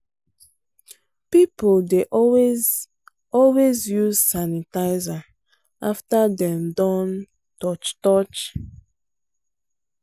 people dey always always use sanitizer after dem don touch touch.